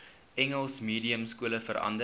engels mediumskole verander